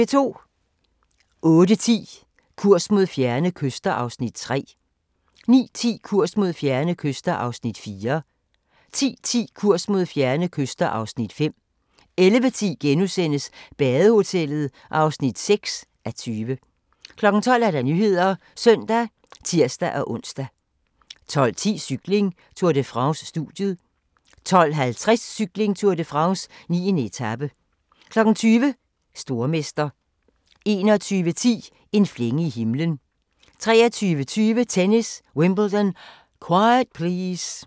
08:10: Kurs mod fjerne kyster (Afs. 3) 09:10: Kurs mod fjerne kyster (Afs. 4) 10:10: Kurs mod fjerne kyster (Afs. 5) 11:10: Badehotellet (6:20)* 12:00: Nyhederne (søn og tir-ons) 12:10: Cykling: Tour de France - studiet 12:50: Cykling: Tour de France - 9. etape 20:00: Stormester 21:10: En flænge i himlen 23:20: Tennis: Wimbledon - quiet please!